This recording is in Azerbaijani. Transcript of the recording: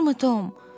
yaxşımı Tom?